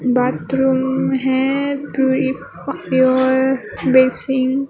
Bathroom हैं purifier basin.